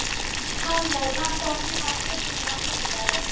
Pálmey, pantaðu tíma í klippingu á sunnudaginn.